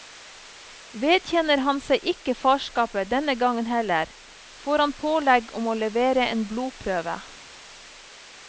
Vedkjenner han seg ikke farskapet denne gang heller, får han pålegg om å levere en blodprøve.